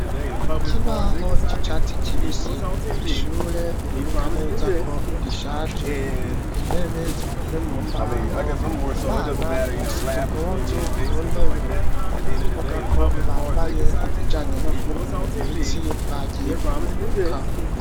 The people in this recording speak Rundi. Ikibaho c'icatsi kibisi, ishure biboneka neza ko rishaje. Intebe zikoze mu mbaho, abana basize impuzu ku ntebe. Ni ukuvuga ko bambaye izijanye no kwinonora imitsi bagiye kuruhuka.